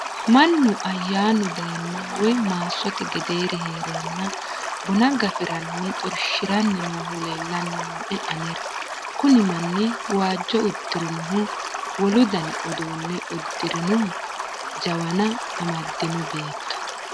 mannu ayyaanu dayenna woy maassote gedeeri heerenna buna gafiranni xorshshiranni noohu leellanni nooe anera kuni manni waajjo udirinohu wolu dani uduunne udirinohu jawana amaddino beetto